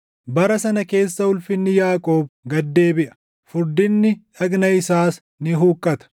“Bara sana keessa ulfinni Yaaqoob gad deebiʼa; furdinni dhagna isaas ni huqqata.